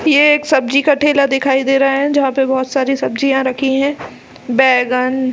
ये एक सब्जी का ठेला दिखाई दे रहा है जहाँ पे बहोत सारी सब्जियां रखी है बैगन--